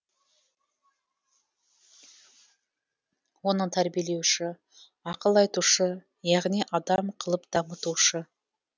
оның тәрбиелеуші ақыл айтушы яғни адам қылып дамытушы